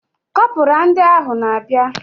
Kọpura ndị ahụ na abia